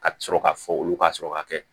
Ka sɔrɔ ka fɔ olu ka sɔrɔ ka kɛ